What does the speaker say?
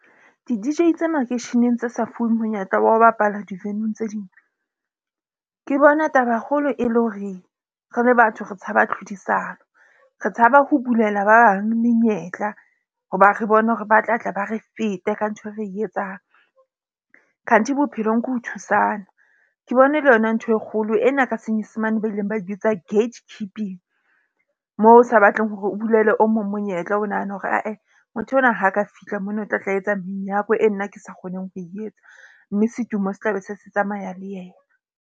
Di-D_J tsa makeisheneng tse sa fuweng monyetla wa ho bapala di-venue-ng tse ding. Ke bona taba kgolo e le hore re le batho re tshaba tlhodisano. Re tshaba ho bulela ba bang menyetla hoba re bone hore ba tla tla ba re fete ka ntho e re etsang. Khanthi bophelong ke ho thusana ke bone le yona ntho e kgolo ena ka senyesemane ba ileng ba ibitsa gate keeping. Moo o sa batleng hore o bulele o mong monyetla, o nahane hore ae motho enwa ha ka fihla mona o tla tla etsa menyako e nna ke sa kgoneng ho e etsa. Mme setumo sa tlabe se se tsamaya le yena.